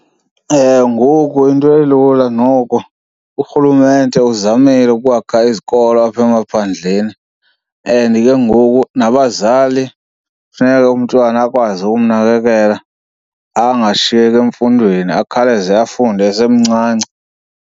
Ewe, ngoku into elula noko urhulumente uzamile ukwakha izikolo apha emaphandleni and ke ngoku nabazali funeke umntwana akwazi ukumnakekela angashiyeki emfundweni, akhawuleze afunde esemncinci.